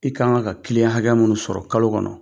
I ka kan ka kiliyan hakɛ minnu sɔrɔ kalo kɔnɔ